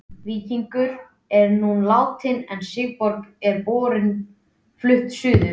Víkingur er nú látinn en Sigurborg og börnin flutt suður.